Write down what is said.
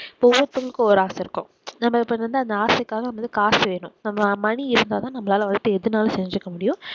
இப்போ ஒவ்வொருத்தருக்கும் ஒவ்வொரு ஆசை இருக்கும் நம்ம இப்போ வந்து அந்த ஆசைக்காக நம்மளுக்கு காசு வேணும் நம்ம money இருந்தா தான் நம்மளால எது வேணும்னாலும் செஞ்சுக்க முடியும்.